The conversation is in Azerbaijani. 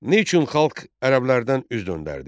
Nə üçün xalq ərəblərdən üz döndərdi?